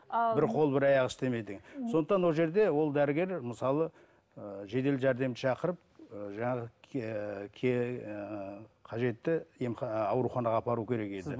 бір қол бір аяғы істемейді деген сондықтан ол жерде ол дәрігер мысалы ыыы жедел жәрдемді шақырып ыыы жаңағы ыыы кажетті ауруханаға апару керек еді